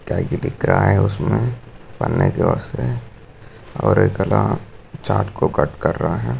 काही की दिख रहा है उसमे पन्ने की और से और एकला चाटको कट कर रहा है।